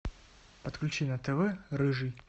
подключи на тв рыжий